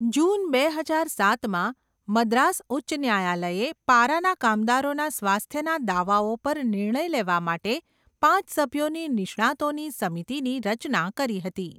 જૂન બે હજાર સાતમાં, મદ્રાસ ઉચ્ચ ન્યાયાલયે પારાના કામદારોના સ્વાસ્થ્યના દાવાઓ પર નિર્ણય લેવા માટે પાંચ સભ્યોની નિષ્ણાતોની સમિતિની રચના કરી હતી.